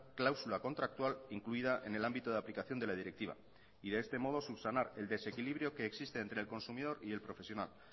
cláusula contractual incluida en el ámbito de aplicación de la directiva y de este modo subsanar el desequilibrio que existe entre el consumidor y el profesional